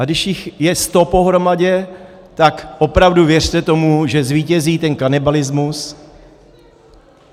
A když jich je sto pohromadě, tak opravdu, věřte tomu, že zvítězí ten kanibalismus.